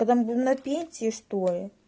когда мы будем на пенсии что ли